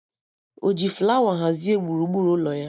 O ji flawa hazie gburugburu ụlọ ya?